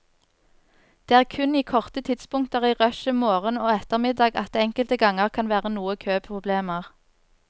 Det er kun i korte tidspunkter i rushet morgen og ettermiddag at det enkelte ganger kan være noe køproblemer.